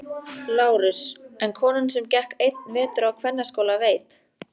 LÁRUS: En konan sem gekk einn vetur á kvennaskóla veit.